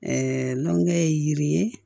nɔnɔ ye yiri ye